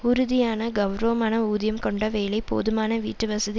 உறுதியான கெளரவமான ஊதியம் கொண்ட வேலை போதுமான வீட்டு வசதி